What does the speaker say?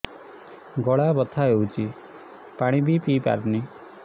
ଗଳା ବଥା ହଉଚି ପାଣି ବି ପିଇ ପାରୁନି